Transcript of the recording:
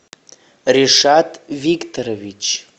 решат викторович